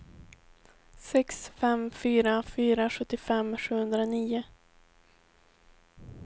sex fem fyra fyra sjuttiofem sjuhundranio